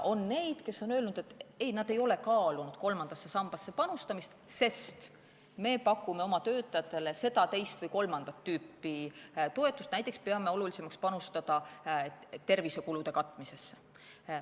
On neid, kes on öelnud, et ei, nad ei ole kaalunud kolmandasse sambasse panustamist, sest nad pakuvad oma töötajatele seda, teist või kolmandat tüüpi toetust, näiteks peavad olulisemaks panustada tervisekulude katmisesse.